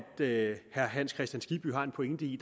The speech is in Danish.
herre hans kristian skibby har en pointe i